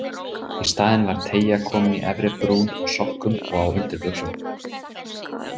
Í staðinn var teygja komin í efri brún á sokkum og á undirbuxum.